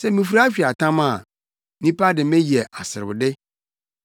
sɛ mifura atweaatam a nnipa de me yɛ aserewde.